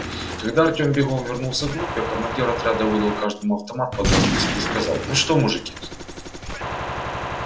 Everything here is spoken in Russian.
когда артём бегом вернулся к группе командир отряда выдал каждому автомат под расписку и сказал ну что мужики